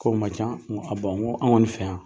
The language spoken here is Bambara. K'o man can n ko an kɔni fɛ yan.